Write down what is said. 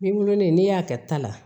Ni wololen n'i y'a kɛ ta la